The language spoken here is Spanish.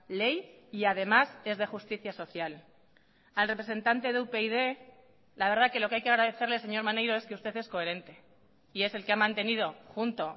ley y además es de justicia social al representante de upyd la verdad que lo que hay que agradecerle señor maneiro es que usted es coherente y es el que ha mantenido junto